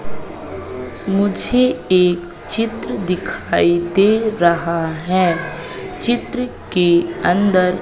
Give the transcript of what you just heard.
मुझे एक चित्र दिखाई दे रहा है चित्र के अंदर--